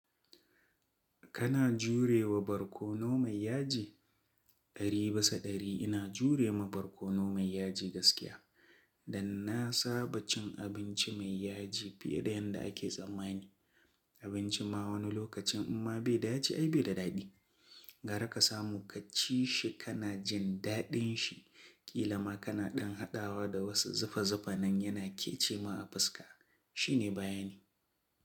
Kana jurewa barkono mai yaji? Ɗari bisa ɗari ina jure ma barkono mai yaji gaskiya. Dan na saba cin abinci mai yaji fiye da yadda ake tsammani. Abinci ma wani lokacin in ma bai da yaji ai bai da daɗi. Ga raka samu ka ci shi kana jin daɗin shi. Kila ma kana ɗan haɗawa da wasu zufa zufa nan yana kecewa a fuska. Shi ne bayani.